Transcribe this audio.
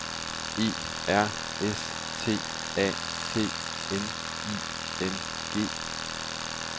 E R S T A T N I N G